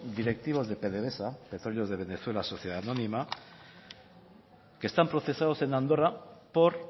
directivos de pdvsa petróleos de venezuela sociedad anónima que están procesados en andorra por